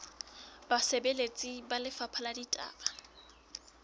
basebeletsi ba lefapha la ditaba